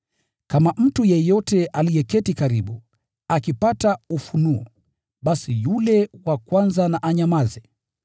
Kama mtu yeyote aliyeketi karibu, akipata ufunuo, basi yule wa kwanza na anyamaze.